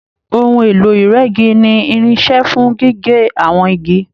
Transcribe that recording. Òhun èlò ìrẹ́gi ní irinṣẹ́ fún gígé àwọn igi.